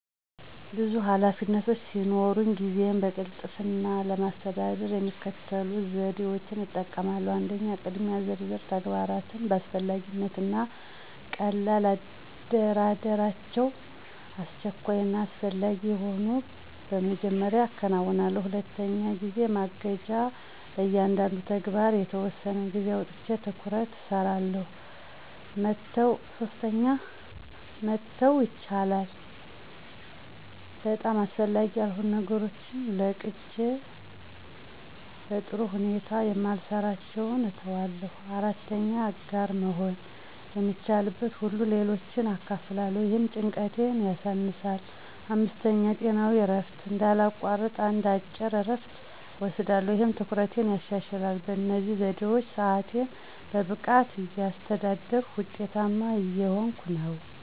ብዙ ኃላፊነቶች ሲኖሩኝ ጊዜዬን በቅልጥፍና ለማስተዳደር የሚከተሉትን ዘዴዎች እጠቀማለሁ 1. **የቅድሚያ ዝርዝር** - ተግባራቶችን በአስፈላጊነት እና ቀልላ አደራደራቸው፣ አስቸኳይ እና አስፈላጊ የሆኑትን በመጀመሪያ አከናውን። 2. **ጊዜ ማገጃ** - ለእያንዳንዱ ተግባር የተወሰነ ጊዜ አውጥቼ በትኩረት እሰራለሁ። 3. **መተው ይቻላል!** - በጣም አስፈላጊ ያልሆኑ ነገሮችን ለቅጄ በጥሩ ሁኔታ የማልሰራቸውን እተዋለሁ። 4. **አጋር መሆን** - የሚቻልበትን ሁሉ ለሌሎች አካፍላለሁ፣ ይህም ጭንቀቴን ያሳነሳል። 5. **ጤናዊ እረፍት** - እንዳላቋርጥ አንድ አጭር እረፍት እወስዳለሁ፣ ይህም ትኩረቴን ያሻሽላል። በእነዚህ ዘዴዎች ሰአቴን በብቃት እያስተዳደርኩ ውጤታማ እየሆንኩ ነው።